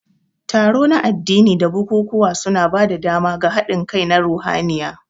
Taro na addini da bukukuwa suna ba da dama ga haɗin kai na ruhaniya.